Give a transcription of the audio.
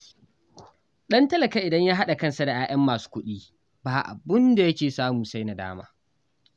Ɗan talaka idan ya haɗa kansa da 'ya'yan masu kuɗi, ba abin da yake samu sai nadama